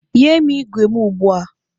Nye m igwe igwe m ugbu a!